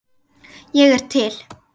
Ég er til